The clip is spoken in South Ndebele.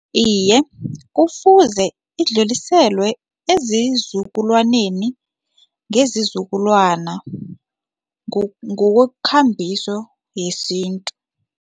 Iye, kufuze idluliselwe ezizukulwaneni ngezizukulwana ngokwekambiso yesintu.